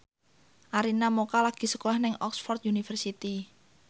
Arina Mocca lagi sekolah nang Oxford university